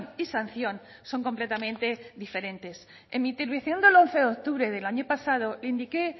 y sanción son completamente diferentes en mi intervención del once de octubre del año pasado indiqué